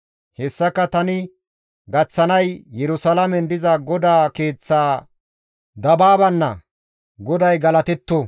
Hessaka tani gaththanay, Yerusalaamen diza GODAA keeththa dabaabanna. GODAY galatetto!